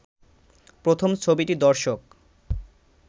প্রথম ছবিটি দর্শক